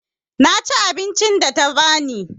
Na ci abincin da ta ba ni.